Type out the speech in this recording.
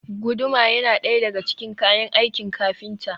Guduma yana ɗaya daga cikin kayan aikin kafinta.